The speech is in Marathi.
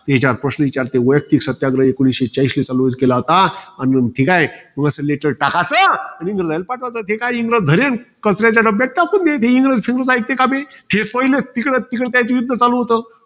त्याच्यावर, प्रश्न विचारतील. वैयक्तिक सत्याग्रह एकोणीसशे चाळीसले चालू केला होता. अन ठीके? असं letter टाकाचं, आणि पाठवाच. जे काही इंग्रज धरील, कचऱ्याच्या डब्यात टाकून देतील. इंग्रज कधी ऐकते का बे? हे पहिले, इकडे इकडं त्याच युध्द चालू होतं.